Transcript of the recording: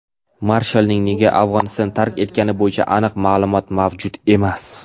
marshalning nega Afg‘onistonni tark etgani bo‘yicha aniq ma’lumot mavjud emas.